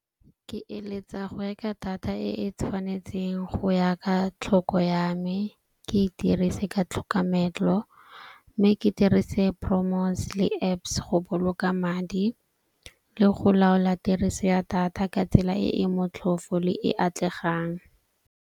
Ke eletsa go reka data e e tshwanetseng go ya ka tlhoko ya me. Ke e dirise ka tlhokamelo. Mme ke dirise le Apps go boloka madi le go laola tiriso ya data ka tsela e e motlhofo le e atlegang.